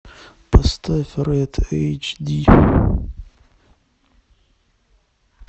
поставь рэд эйч ди